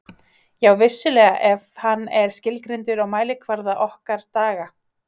Já, vissulega ef hann er skilgreindur á mælikvarða okkar daga.